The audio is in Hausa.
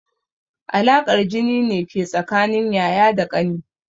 Alaƙar jini ne ke tsakanin yaya da ƙani.